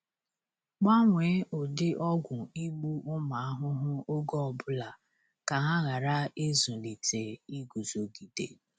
Gbanwee ụdị ọgwụ igbu ụmụ ahụhụ oge ọ bụla ka ha ghara ịzụlite iguzogide.